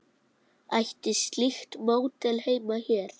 Ætti slíkt módel heima hér?